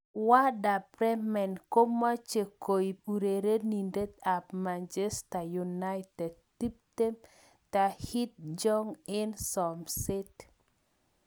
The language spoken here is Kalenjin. Werder Bremen komoche koip urerenindet ab Manchester United, 20, Tahith Chong eng somset.